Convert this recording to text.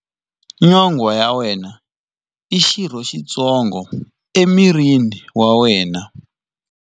Nyonghwa ya wena i xirho xitsongo emirini wa wena.